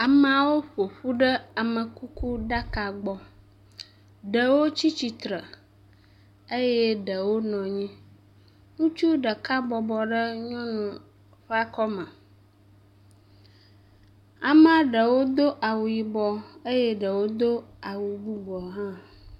Ameawo ƒoƒu ɖe amekukuɖaka gbɔ, ɖewo tsi tsitre eye ɖewo nɔnyi, ŋutsu ɖeka bɔbɔ ɖe nyɔnu ƒe akɔme, amea ɖewo do awu yibɔ eye ɖewo do awu bubua hã.